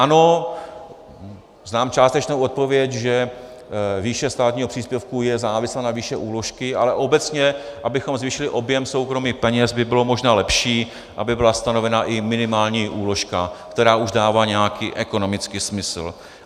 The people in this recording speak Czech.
Ano, znám částečnou odpověď, že výše státního příspěvku je závislá na výši úložky, ale obecně, abychom zvýšili objem soukromých peněz, by bylo možná lepší, aby byla stanovena i minimální úložka, která už dává nějaký ekonomický smysl.